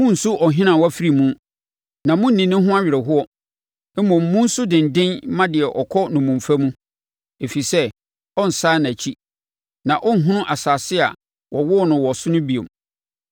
Monnsu ɔhene a wafiri mu, na monni ne ho awerɛhoɔ; mmom, monsu denden mma deɛ ɔkɔ nnommumfa mu, ɛfiri sɛ ɔrensane nʼakyi na ɔrenhunu asase a wɔwoo no wɔ so no bio.